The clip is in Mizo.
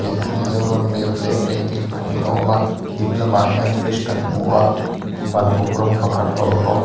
mizoram map leh painting pahnih a awm a dinglamah hian fridge kan hmu a ban uk rawng pakhat a awm bawk.